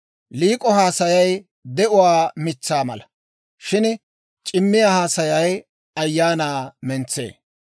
Liik'o haasayay de'uwaa mitsaa mala; shin c'imiyaa haasayay ayaanaa mentsee.